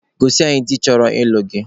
Gosi anyị di chọrọ ịlụ gị!